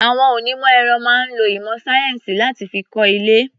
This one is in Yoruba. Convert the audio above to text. Àwon onímọ̀ ẹ̀rọ máa ń lo ìmọ̀ sáyẹ́ǹsì láti fi kọ́ ilé.